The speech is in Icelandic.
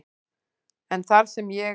en þar sem ég